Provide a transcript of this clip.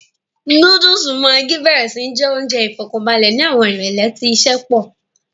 Núdùùsù maggi béèrè sí jẹ́ oúnjẹ ìfọ̀kànbalẹ̀ ni àwọn ìrólé tí iṣẹ́ pọ̀